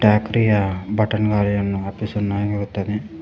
ಟ್ಯಕ್ರಿಯ button ಗಾಲಿಯನ್ನು ಆಪಿಸನ್ನು ಆಗಿರುತ್ತವೆ.